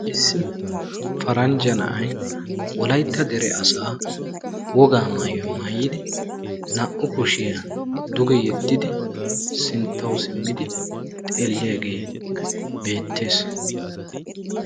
Issi paranjja na'ay wolaytta asaa wogaa maayuwa maayiddi sinttawu simiddi dugee xelees.